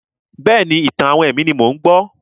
Bẹ́ẹ̀ni, ìtàn-àwọn ẹ̀mí ni mò ń gbọ́.